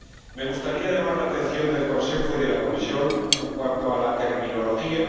Me gustaría llamar la atención del Consejo y de la Comisión en cuanto a la terminología.